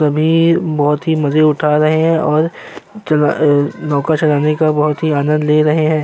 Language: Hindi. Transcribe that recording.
सभी बहोत ही मजे उठा रहे है और धोका चलने का बहोत ही आनंद ले रहे है।